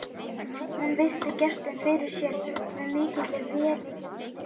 Hún virti gestinn fyrir sér með mikilli velþóknun.